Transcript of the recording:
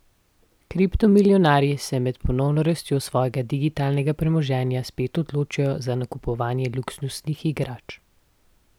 Kriptomilijonarji se med ponovno rastjo svojega digitalnega premoženja spet odločajo za nakupovanje luksuznih igrač.